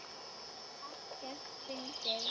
Ekkert fyndið!